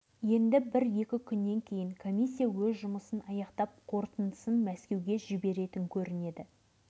көңілдері үміт пен күдікке толы көптеген адам дәліз бойындағы әр есіктің алдында топырлай кезек күтіп тұр